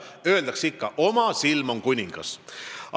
Öeldakse ikka, et oma silm on kuningas.